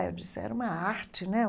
Ah, eu disse, era uma arte, né?